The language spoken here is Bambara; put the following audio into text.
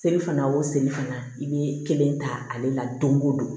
Seli fana o seli fana i bɛ kelen ta ale la don o don